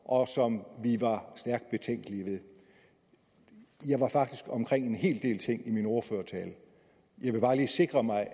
og som vi var stærkt betænkelige ved jeg var faktisk omkring en hel del ting i min ordførertale jeg vil bare lige sikre mig at